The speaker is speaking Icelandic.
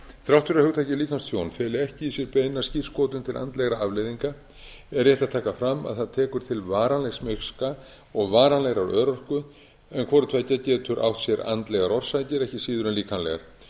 þrátt fyrir að hugtakið líkamstjón feli ekki í sér beina skírskotun til andlegra afleiðinga er rétt að taka fram að það tekur til varanlegs miska og varanlegrar örorku en hvorutveggja getur átt sér andlegar orsakir ekki síður en líkamlegar